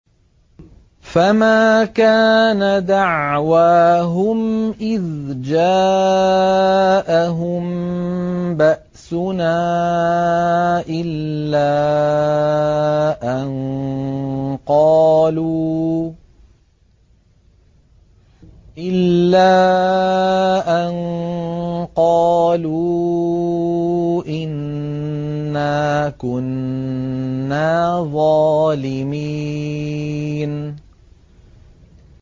فَمَا كَانَ دَعْوَاهُمْ إِذْ جَاءَهُم بَأْسُنَا إِلَّا أَن قَالُوا إِنَّا كُنَّا ظَالِمِينَ